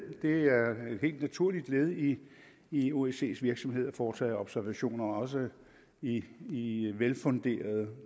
det er et helt naturligt led i i osces virksomhed at foretage observationer og også i i velfunderede